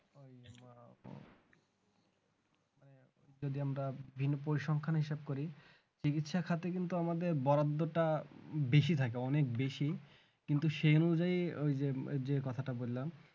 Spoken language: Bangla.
যদি আমরা ভিন পরিশ্রমখানি সেভ করি চিকিৎসা খাতে কিন্তু আমাদের বরাদ্দ টা বেশি থাকে অনেক বেশি কিন্তু সে অনুযায়ী ওই যে যে কথাটা বললাম